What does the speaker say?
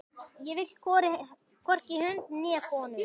Ég vil hvorki hunda né konur.